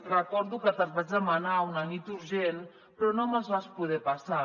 recordo que te’ls vaig demanar una nit urgent però no me’ls vas poder passar